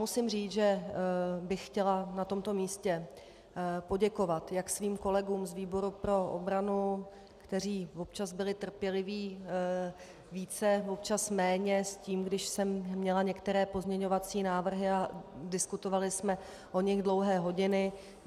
Musím říct, že bych chtěla na tomto místě poděkovat jak svým kolegům z výboru pro obranu, kteří občas byli trpěliví více, občas méně s tím, když jsem měla některé pozměňovací návrhy a diskutovali jsme o nich dlouhé hodiny.